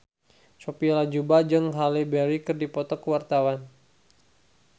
Sophia Latjuba jeung Halle Berry keur dipoto ku wartawan